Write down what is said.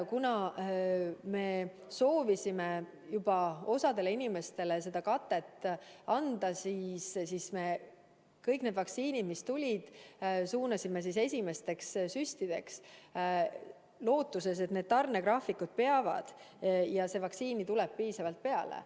Kuna me soovisime siiski võimalikult paljudele inimestele seda katet anda, siis me kõik doosid, mis tulid, suunasime esimesteks süstideks, lootuses, et tarnegraafikud peavad ja seda vaktsiini tuleb piisavalt peale.